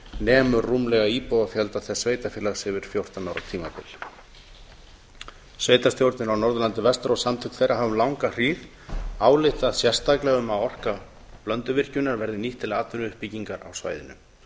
nemur rúmlega íbúafjölda þess sveitarfélags yfir fjórtán ára tímabil sveitarstjórnir á norðurlandi vestra og samtök þeirra hafa um langa hríð ályktað sérstaklega um að orka blönduvirkjunar verði nýtt til atvinnuuppbyggingar á svæðinu